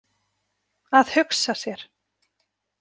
Að hugsa sér!